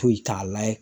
Foyi t'a layɛ